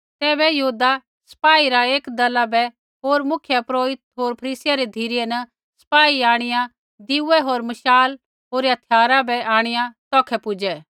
तैबै यहूदा सपाई रा एक दला बै होर मुख्यपुरोहिता होर फरीसियै री धिरै न सपाई आंणिआ दिऐ होर मशाल होर हथियार आंणिआ तौखै पुजै